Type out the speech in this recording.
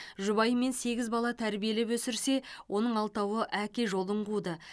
жұбайымен сегіз бала тәрбиелеп өсірсе оның алтауы әке жолын қуды